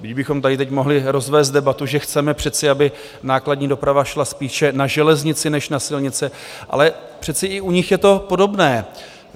Kdybychom tady teď mohli rozvést debatu, že chceme přece, aby nákladní doprava šla spíše na železnici než na silnice, ale přece i u nich je to podobné.